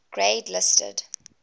grade listed